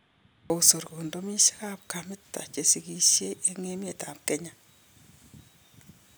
Kosor kondomisiek kamit chesikisie en emet ab Kenya